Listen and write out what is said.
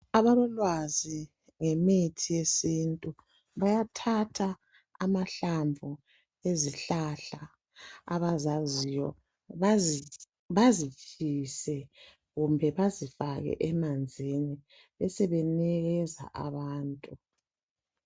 Abalolwazi ngemithi yesintu bayathatha amahlamvu ezihlahla abazaziyo bazitshise kumbe bazifake emanzini bese benikeza abantu.